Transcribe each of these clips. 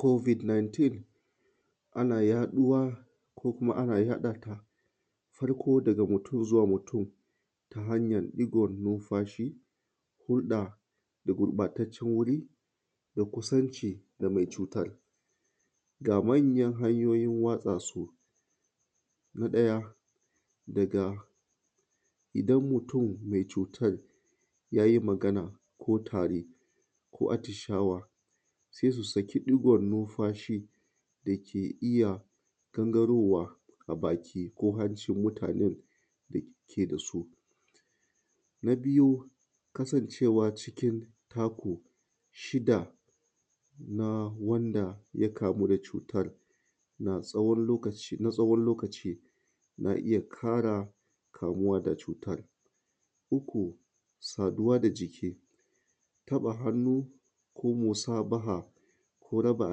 Covid 19, ana yaɗuwa ko kuma ana yaɗa ta farko daga mutum zuwa mutum ta hanyan ɗigon numfashi, hulɗa da gurɓataccen wuri da kusanci da mai cutar. Ga manyan hanyoyin watsa su: Na ɗaya, daga idan mutum mai cutar ya yi magana ko tari ko atishawa, sai su saki ɗigon numfashi da ke iya gangarowa a baki ko hancin mutanen da ke da su. Na biyu, kasancewa cikin taku shida na wanda ya kamu da cutar na tsawon lokaci na iya ƙara kamuwa da cutar. Uku, saduwa da jiki, taɓa hannu ko musabaha ko raba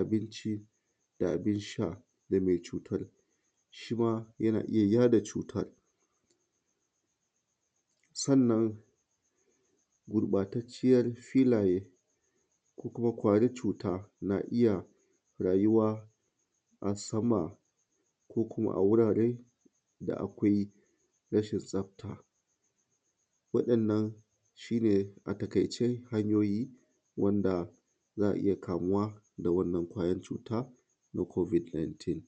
abinci da abin sha da mai cutar shi ma yana iya yaɗa cutar. Sannan gurɓatacciyar filaye ko kuma ƙwayar cut ana iya rayuwa a sama ko kuma a wurare da akwai rashin tsafta. Waɗannan shi ne a taƙaice hanyoyi wanda za a iya kamuwa da wannan ƙwayar cut ana covid 19.